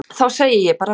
Þá segi ég bara nei.